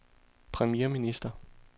premierminister